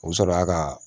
U bɛ sɔrɔ y'a ka